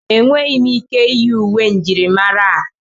Enweghị m ike iyi uwe njirimara a.